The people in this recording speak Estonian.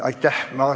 Aitäh!